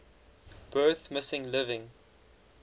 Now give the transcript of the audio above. birth missing living